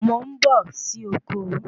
Mò ń bọ̀ sì oko